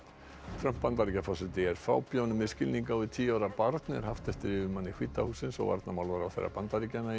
Trump Bandaríkjaforseti er fábjáni með skilning á við tíu ára barn er haft eftir yfirmanni hvíta hússins og varnarmálaráðherra Bandaríkjanna í